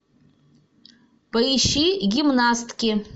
поищи гимнастки